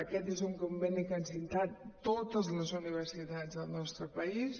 aquest és un conveni que han signat totes les universitats del nostre país